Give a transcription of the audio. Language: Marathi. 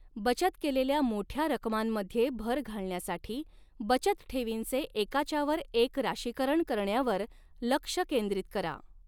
बचत केलेल्या मोठ्या रकमांमध्ये भर घालण्यासाठी, बचतठेवींचे एकाच्यावर एक राशीकरण करण्यावर लक्ष केंद्रित करा.